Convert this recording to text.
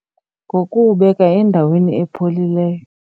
Ngokuwubeka endaweni epholileyo.